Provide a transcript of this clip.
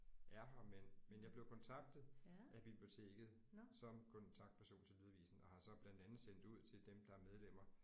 er her men men jeg blev kontaktet af biblioteket som kontaktperson til lydavisen og har så blandt andet sendt ud til dem der er medlemmer